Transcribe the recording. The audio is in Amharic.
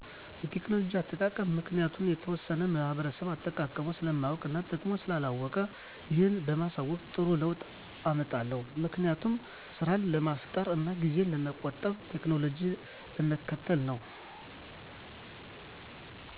የቴክኖሎጂ አጠቃቀም ምክንያቱም የተወሠነ ማህበረሰብ አጠቃቀሙን ስለማያውቅ እና ጥቅሙን ስላላወቀ ይህን በማሣወቅ ጥሩ ለውጥ አመጣለሁ። ምክንያቱም፦ ስራን ለማፍጠን እና ጊዜን ለመቆጠብ ቴክኖሎጂን ለመከተል ነው።